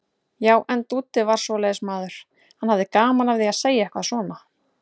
Já, en Dúddi var svoleiðis maður, hann hafði gaman af því að segja eitthvað svona.